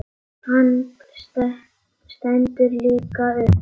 Hann stendur líka upp.